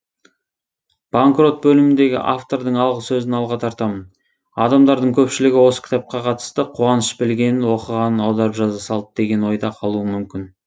банкрот бөліміндегі автордың алғы сөзін алға тартамын адамдардың көпшілігі осы кітапқа қатысты қуаныш білгенін оқығанын аударып жаза салды деген ойда қалуы мүмкін